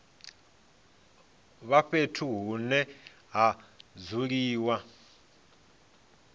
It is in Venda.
vha fhethu hune ha dzuliwa